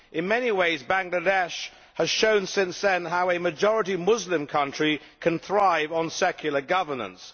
In many ways Bangladesh has shown since then how a majority Muslim country can thrive on secular governance.